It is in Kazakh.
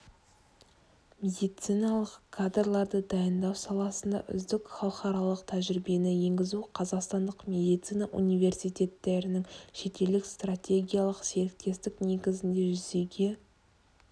медициналық кадрларды дайындау саласында үздік халықаралық тәжірибені енгізу қазақстандық медицина университеттерінің шетелдік стратегиялық серіктестік негізінде жүзеге